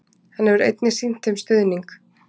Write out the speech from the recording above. hann hefur einnig sýnt þeim stuðning